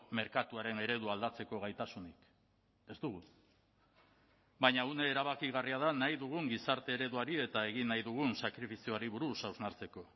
merkatuaren eredua aldatzeko gaitasunik ez dugu baina une erabakigarria da nahi dugun gizarte ereduari eta egin nahi dugun sakrifizioari buruz hausnartzeko